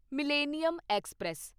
millennium express